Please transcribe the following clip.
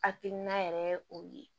Hakilina yɛrɛ ye o ye